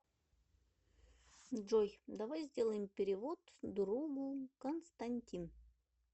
джой давай сделаем перевод другу константин